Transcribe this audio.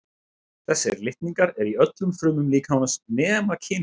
þessir litningar eru í öllum frumum líkamans nema kynfrumunum